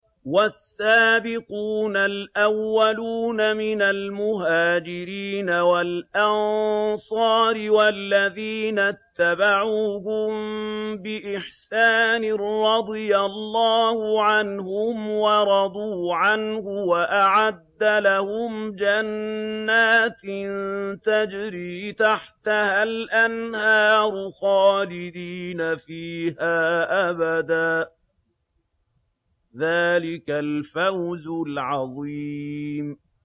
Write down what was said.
وَالسَّابِقُونَ الْأَوَّلُونَ مِنَ الْمُهَاجِرِينَ وَالْأَنصَارِ وَالَّذِينَ اتَّبَعُوهُم بِإِحْسَانٍ رَّضِيَ اللَّهُ عَنْهُمْ وَرَضُوا عَنْهُ وَأَعَدَّ لَهُمْ جَنَّاتٍ تَجْرِي تَحْتَهَا الْأَنْهَارُ خَالِدِينَ فِيهَا أَبَدًا ۚ ذَٰلِكَ الْفَوْزُ الْعَظِيمُ